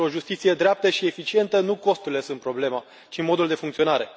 Pentru o justiție dreaptă și eficientă, nu costurile sunt o problemă, ci modul de funcționare.